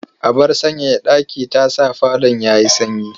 Abar sanyaya ɗaki ta sa falon ya yi sanyi.